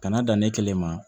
Kana dan ne kelen ma